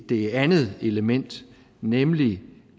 det andet element nemlig